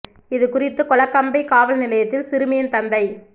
இது குறித்து கொலக்கம்பை காவல் நிலையத்தில் சிறுமியின் தந்தை